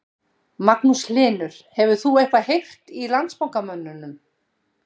Magnús Hlynur: Hefur þú eitthvað heyrt í Landsbankamönnum?